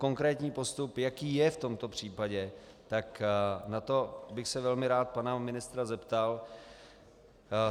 Konkrétní postup, jaký je v tomto případě, tak na to bych se velmi rád pana ministra zeptal.